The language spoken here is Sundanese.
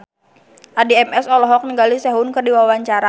Addie MS olohok ningali Sehun keur diwawancara